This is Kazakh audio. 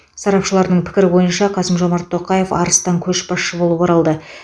сарапшылардың пікірі бойынша қасым жомарт тоқаев арыстан көшбасшы болып оралды